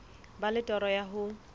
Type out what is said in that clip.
ba le toro ya ho